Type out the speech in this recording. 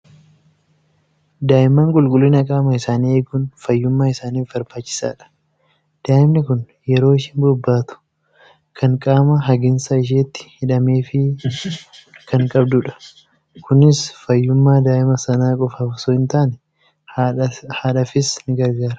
Daa'imman qulqullina qaama isaanii eeguun fayyummaa isaaniif barbaachisaadha. Daa'imni kun yeroo isheen bobbaatu kan qaama hagiinsa isheetti hidhameefii kan qabdudha. Kunis fayyummaa daa'ima sana qofaaf osoo hin taane haadhaafis ni gargaara.